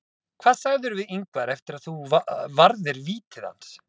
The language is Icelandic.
Hvað sagðirðu við Ingvar eftir að þú varðir vítið hans?